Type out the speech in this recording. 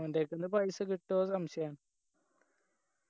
ഓൻ്റെക്ക്ന്ന് പൈസ കിട്ടൊന്ന് സംശയാന്ന്